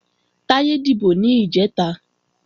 Táyé dìbò ní ìjẹta